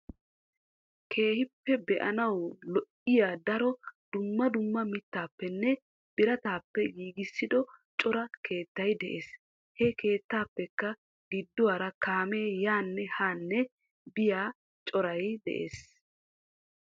Keehippe bee; anawu lo''iyadaro duummaa duummaa mittappenne birattappe giggisido cora keettay de'ees. He keettappekka giduwaara kaammee yanne hanne biyiyaa coray de'ees.